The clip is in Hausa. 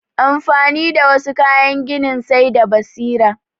Amfani da wassu kayan gini sai da basira